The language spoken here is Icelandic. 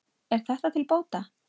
Er þetta til bóta.